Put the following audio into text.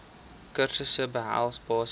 kursusse behels basiese